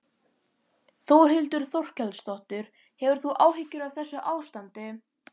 Þórhildur Þorkelsdóttir: Hefur þú áhyggjur af þessu ástandi?